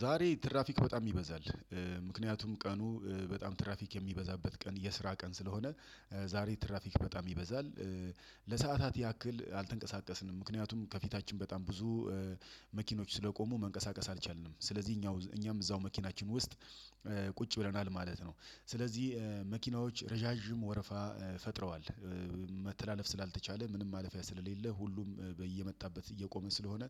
ዛሬ ትራፊክ በጣም ይበዛል ምክንያቱም ቀኑ በጣም ትራፊክ የሚበዛበት ቀን የስራ ቀን ስለሆነ ዛሬ ትራፊክ በጣም ይበዛል ለሰአታት ያክል አልተንቀሳቀስንም ምክንያቱም ከፊታችን በጣም ብዙ መኪኖች ስለቆሙ መንቀሳቀስ አልቻልንም ስለዚህ እኛም እዛው መኪናችን ውስጥ ቁጭ ብለናል ማለት ነው። ስለዚህ መኪናዎች ረዣዥም ወረፋ ፈጥረዋል። መተላለፍ ስላልተቻለ ምንም ማለፊያ ስለሌለ ሁሉም በየመጣበት እየቆመ ስለሆነ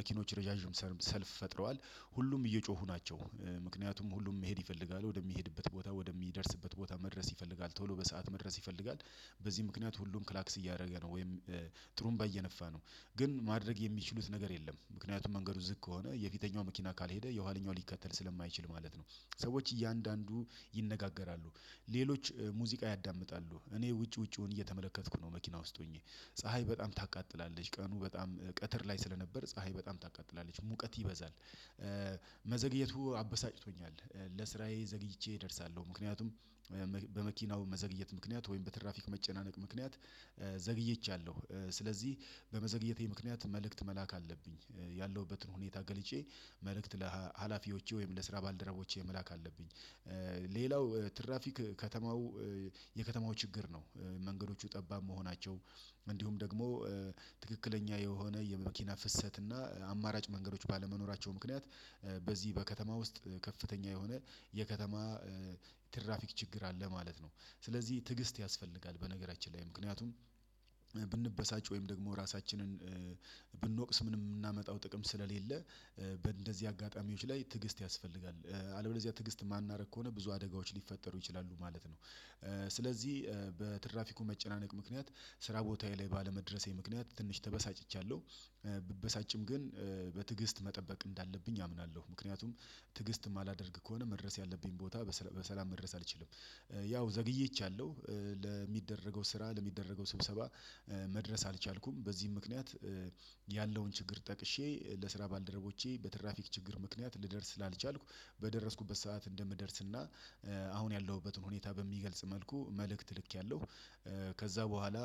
መኪኖች ረዣዥም ሰልፍ ፈጥረዋል። ሁሉም እየጮሁ ናቸው ምክንያቱም ሁሉም መሄድ ይፈልጋል ወደሚሄድበት ቦታ ወደሚደርስበት ቦታ መድረስ ይፈልጋል ቶሎ በሰአት መድረስ ይፈልጋል በዚህ ምክንያት ሁሉም ክላክስ እያደረገ ነው። ወይም ጥሩን ባይየነፋ ነው። ግን ማድረግ የሚችሉት ነገር የለም። ምክንያቱም መንገዱ ዝግ ከሆነ የፊተኛው መኪና ካልሄደ የኋለኛው ሊከተል ስለማይችል ማለት ነው። ሰዎች እያንዳንዱ ይነጋገራሉ ሌሎች ሙዚቃ ያዳምጣሉ። እኔ ውጪ ውጪውን እየተመለከትኩ ነው መኪና ውስጥ ሆኜ ፀሀይ በጣም ታቃጥላለች ቀኑ በጣም ቀትር ላይ ስለነበር ፀሀይ በጣም ታቃጥላለች ሙቀት ይበዛል መዘግየቱ አበሳጭቶኛል ለስራዬ ዘግይቼ እደርሳለሁ ምክንያቱም በመኪናው መዘግየት ምክንያት ወይም በትራፊክ መጨናነቅ ምክንያት ዘግይቻለሁ። ስለዚህ በመዘግየቴ ምክንያት መልእክት መላክ አለብኝ ያለሁበትን ሁኔታ ገልጬ መልእክት ለሀላፊዎቼ ወይም ለስራ ባልደረቦቼ መላክ አለብኝ። ሌላው ትራፊክ ከተማው የከተማው ችግር ነው። መንገዶቹ ጠባብ መሆናቸው እንዲሁም ደግሞ ትክክለኛ የሆነ የመኪና ፍሰት እና አማራጭ መንገዶች ባለመኖራቸው ምክንያት በዚህ በከተማ ውስጥ ከፍተኛ የሆነ የከተማ ትራፊክ ችግር አለ ማለት ነው። ስለዚህ ትዕግስት ያስፈልጋል በነገራችን ላይ ምክንያቱም ብንበሳጭ ወይም ደግሞ ራሳችንን ብንወቅስ ምንም ምናመጣው ጥቅም ስለሌለ በእንደዚህ አጋጣሚዎች ላይ ትዕግስት ያስፈልጋል። አለበለዚያ ትዕግስት የማናደርግ ከሆነ ብዙ አደጋዎች ሊፈጠሩ ይችላሉ ማለት ነው። ስለዚህ በትራፊኩ መጨናነቅ ምክንያት ስራ ቦታዬ ላይ ባለመድረሴ ምክንያት ትንሽ ተበሳጭቻለሁ። ግን በትዕግስት መጠበቅ እንዳለብኝ አምናለሁ። ምክንያቱም ትዕግስት የማላደርግ ከሆነ መድረስ ያለብኝን ቦታ በሰላም መድረስ አልችልም። ያው ዘግይቻለሁ። ለሚደረገው ስራ ለሚደረገው ስብሰባ መድረስ አልቻልኩም። በዚህም ምክንያት ያለውን ችግር ጠቅሼ ለስራ ባልደረቦቼ በትራፊክ ችግር ምክንያት ልደርስ ስላልቻልኩ በደረስኩበት ሰዓት እንደምደርስና አሁን ያለሁበትን ሁኔታ በሚገልጽ መልኩ መልእክት ልኬያለሁ። ከዛ በኋላ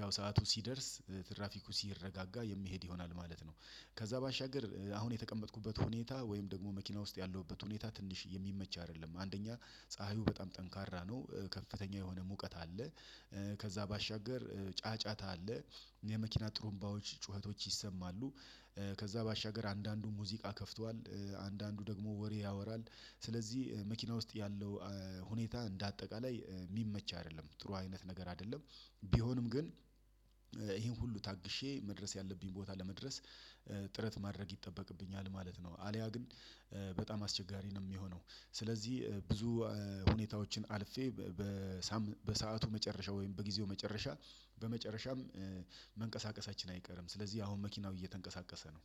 ያው ሰዓቱ ሲደርስ ትራፊኩ ሲረጋጋ የምሄድ ይሆናል ማለት ነው። ከዛ ባሻገር አሁን የተቀመጥኩበት ሁኔታ ወይም ደግሞ መኪና ውስጥ ያለሁበት ሁኔታ ትንሽ የሚመች አይደለም። አንደኛ ፀሀዩ በጣም ጠንካራ ነው ከፍተኛ የሆነ ሙቀት አለ። ከዛ ባሻገር ጫጫታ አለ። የመኪና ጥሩምባዎች ጩኸቶች ይሰማሉ። ከዛ ባሻገር አንዳንዱ ሙዚቃ ከፍቷል። አንዳንዱ ደግሞ ወሬ ያወራል። ስለዚህ መኪና ውስጥ ያለው ሁኔታ እንደ አጠቃላይ የሚመች አይደለም። ጥሩ አይነት ነገር አይደለም። ቢሆንም ግን ይሄን ሁሉ ታግሼ መድረስ ያለብኝ ቦታ ለመድረስ ጥረት ማድረግ ይጠበቅብኛል ማለት ነው። አልያ ግን በጣም አስቸጋሪ ነው ሚሆነው። ስለዚህ ብዙ ሁኔታዎችን አልፌ በ ሳምን በሰአቱ መጨረሻ ወይም በጊዜው መጨረሻ በመጨረሻም መንቀሳቀሳችን አይቀርም ስለዚህ አሁን መኪናው እየተንቀሳቀሰ ነው።